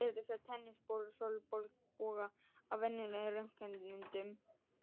Ekki er hægt að sjá tennisolnboga á venjulegum röntgenmyndum.